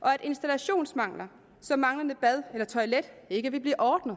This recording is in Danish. og at installationsmangler som manglende bad eller toilet ikke vil blive ordnet